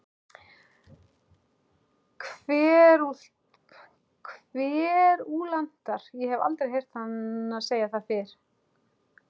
Kverúlantar- ég hef aldrei heyrt hana segja það fyrr.